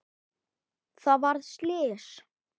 Það varð slys.